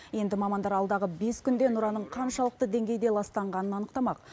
енді мамандар алдағы бес күнде нұраның қаншалықты деңгейде ластанғанын анықтамақ